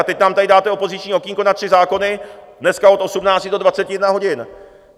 A teď nám tady dáte opoziční okýnko na tři zákony dneska od 18 do 21 hodin.